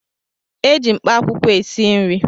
Eji mkpaakwụkwọ esi nri